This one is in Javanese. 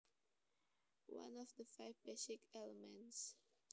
One of the five basic elements